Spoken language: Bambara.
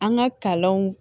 An ka kalanw